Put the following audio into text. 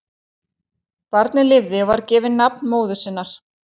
Barnið lifði og var gefið nafn móður sinnar.